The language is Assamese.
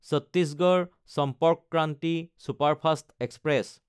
Chhattisgarh Sampark Kranti superfast express